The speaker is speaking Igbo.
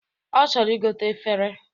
Ọ chọrọ igote efere